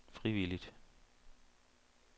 frivilligt